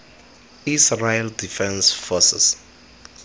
israel defense forces